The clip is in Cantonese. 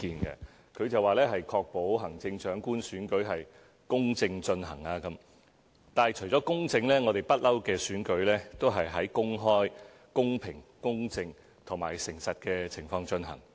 議案指"確保行政長官選舉公正進行"，但除了公正，我們的選舉一直都在公開、公平、公正和誠實的情況下進行。